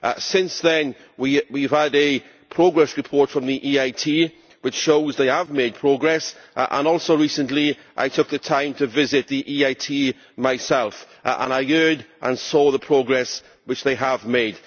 Since then we have had a progress report from the EIT, which shows they have made progress, and also recently I took the time to visit the EIT myself, and I heard and saw the progress which they have made.